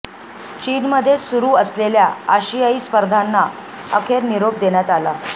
चीनमध्ये सुरु असलेल्या आशियाई स्पर्धांना अखेर निरोप देण्यात आला